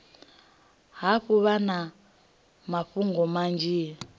hafhu vha na mafhungo manzhi